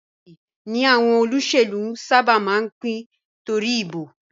Ìrẹsì ni àwọn olóṣèlú sábà máa ń pín torí ìbò